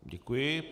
Děkuji.